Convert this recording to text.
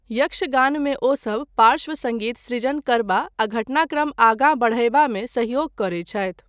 यक्षगानमे ओसभ पार्श्व सङ्गीत सृजन करबा आ घटनाक्रम आगाँ बढ़यबामे सहयोग करैत छथि।